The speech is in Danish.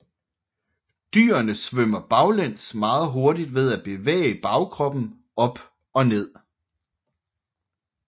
Dyrene svømmer baglæns meget hurtigt ved at bevæge bagkroppen op og ned